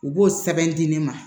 U b'o sɛbɛn di ne ma